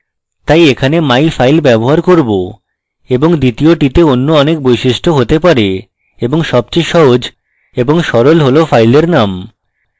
তাই এখানে myfile ব্যবহার করব এবং দ্বিতীয়টিতে and অনেক বৈশিষ্ট্য হতে পারে এবং সবচেয়ে সহজ এবং সরল হল file name